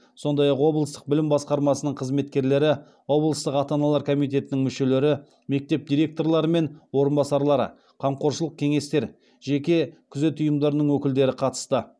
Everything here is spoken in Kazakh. сондай ақ облыстық білім басқармасының қызметкерлері облыстық ата аналар комитетінің мүшелері мектеп директорлары мен орынбасарлары қамқоршылық кеңестер жеке күзет ұйымдарының өкілдері қатысты